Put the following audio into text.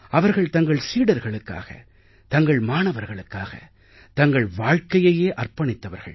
அவர்கள் தங்கள் சீடர்களுக்காக தங்கள் மாணவர்களுக்காக தங்கள் வாழ்க்கையையே அர்ப்பணித்தவர்கள்